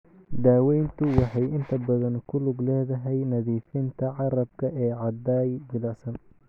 Daaweyntu waxay inta badan ku lug leedahay nadiifinta carrabka ee caday jilicsan.